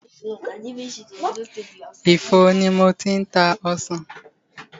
Ifo ni mo ti ń ta ọsàn.